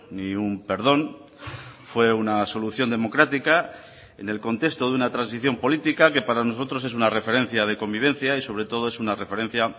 ni un perdón fue una solución democrática en el contexto de una transición política que para nosotros es una referencia de convivencia y sobre todo es una referencia